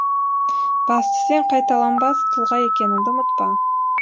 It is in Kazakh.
басты сен қайталанбас тұлға екеніңді ұмытпа